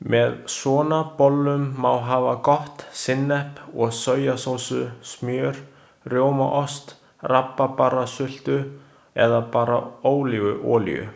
Með svona bollum má hafa gott sinnep eða sojasósu, smjör, rjómaost, rabarbarasultu eða bara ólífuolíu.